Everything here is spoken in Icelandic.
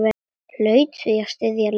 Hlaut því að styðja Lenu.